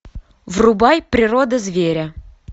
врубай природа зверя